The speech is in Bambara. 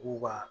K'u ka